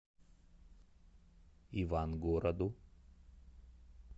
ивангороду